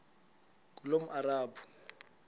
ngulomarabu